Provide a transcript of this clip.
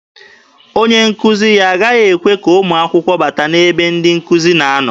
Onye nkuzi ya agaghị ekwe ka ụmụ akwụkwọ bata n'ebe ndị nkụzi na-anọ.